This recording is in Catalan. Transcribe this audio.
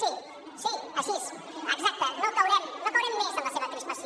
sí sí així exacte no caurem més en la seva crispació